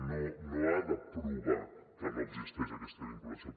no no ha de provar que no existeix aquesta vinculació